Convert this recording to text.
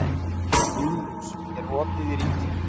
Júlíus, er opið í Ríkinu?